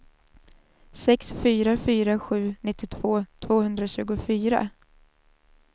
sex fyra fyra sju nittiotvå tvåhundratjugofyra